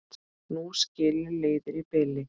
Nú skilur leiðir í bili.